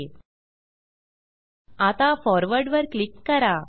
आता forward forward वर click करा